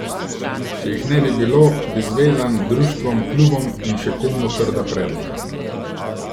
Če jih ne bi bilo, bi zvezam, društvom, klubom in še komu trda predla.